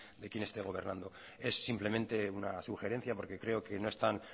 de quién esté gobernando es simplemente una sugerencia porque creo que no están